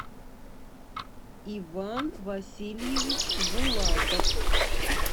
иван васильевич булатов